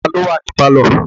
Ta ló wà ní pálọ̀?